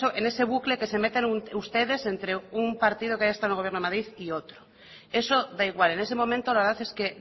en ese bucle que se meten ustedes entre un partido que haya estado en el gobierno de madrid y otro eso da igual en este momento la verdad es que